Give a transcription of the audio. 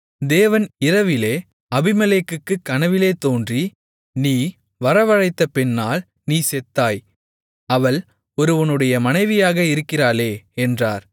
தேவன் இரவிலே அபிமெலேக்குக்குக் கனவிலே தோன்றி நீ வரவழைத்த பெண்ணால் நீ செத்தாய் அவள் ஒருவனுடைய மனைவியாக இருக்கிறாளே என்றார்